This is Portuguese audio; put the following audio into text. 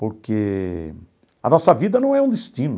Porque a nossa vida não é um destino.